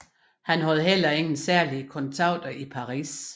Han havde heller ingen særlige kontakter i Paris